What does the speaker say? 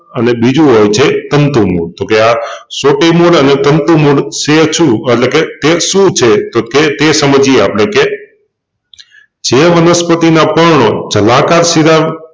અને બીજું હોય છે તંતુ મૂળ તોકે આ સોટી મૂળ અને તંતુ મૂળ છે છુ એટલેકે તે શું છે તોકે તે સમજીએ આપણે કે જે વનસ્પતિના પર્ણો જલાકાર શિરા